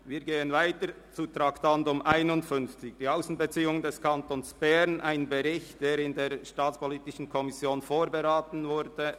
Wir gehen weiter zum Traktandum 51, «Die Aussenbeziehungen des Kantons Bern 2017», einem Bericht, der in der SAK vorberaten wurde.